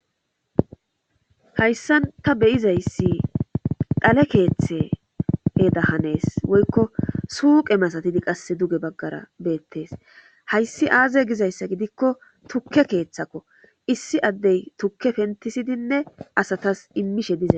Hayssan ta beyizayssi dhale keeththe heeda hanees woykko suuqe masatidi qasse duge baggara beettes hayssi aaze gizayssa gidikko tukke keeththakko issi addey tukke pentisidinne asatas immishe dizaa